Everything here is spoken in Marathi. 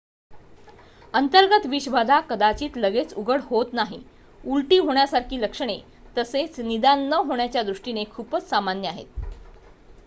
अंतर्गत विषबाधा कदाचित लगेच उघड होत नाही उलटी होण्यासारखी लक्षणे लगेच निदान न होण्याच्या दृष्टीने खूपच सामान्य आहेत